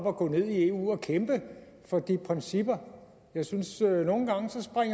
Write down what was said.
at gå ned i eu og kæmpe for de principper jeg synes